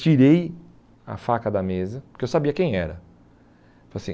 Tirei a faca da mesa, porque eu sabia quem era. Tipo assim